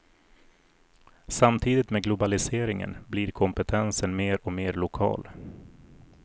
Samtidigt med globaliseringen blir kompetensen mer och mer lokal.